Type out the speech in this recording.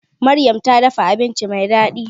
Maryam ta dafa abinci mai daɗi